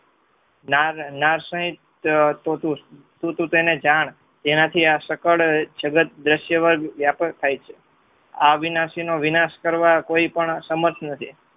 નાર શહિત તો તું તેને જાણ જેનાથી આ સકળ જગત દ્રશ્યવાદ વ્યાપળ થાય છે. આ અવિનાશીનો વિનાશ કરવા કોઈ પણ સમર્થ નથી.